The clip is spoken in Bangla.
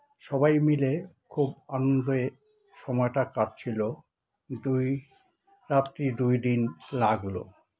সবাই মিলে খুব আনন্দে সময়টা কাটছিল দুই রাত্রি দুই দিন লাগলো